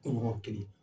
Kunɲɔgɔn kelen